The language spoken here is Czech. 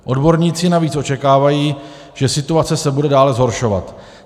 Odborníci navíc očekávají, že situace se bude dále zhoršovat.